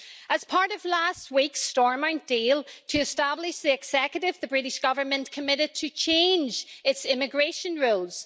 As part of last week's Stormont deal to establish the Executive, the British Government committed to change its immigration rules.